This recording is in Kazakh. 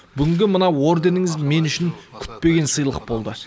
бүгінгі мына орденіңіз мен үшін күтпеген сыйлық болды